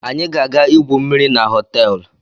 Anyị ga-aga igwu mmiri na họteelu.